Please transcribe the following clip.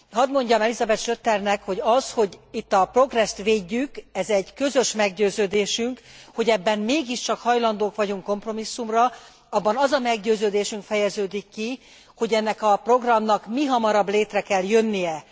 Hadd mondjam el Elisabeth Schroedternek, hogy az, hogy itt a Progress t védjük ez egy közös meggyőződésünk, hogy ebben mégiscsak hajlandók vagyunk kompromisszumra abban az a meggyőződésünk fejeződik ki, hogy ennek a programnak mihamarabb létre kell jönnie.